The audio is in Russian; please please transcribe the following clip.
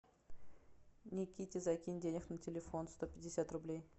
никите закинь денег на телефон сто пятьдесят рублей